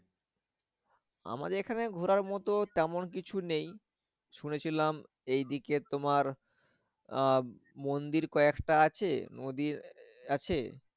আমাদের এখানে ঘোরার মতো তেমন কিছু নেই। শুনেছিলাম এদিকে তোমার আহ মন্দির কয়েকটা আছে নদী আছে ।